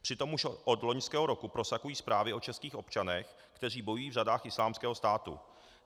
Přitom už od loňského roku prosakují zprávy o českých občanech, kteří bojují v řadách Islámského státu.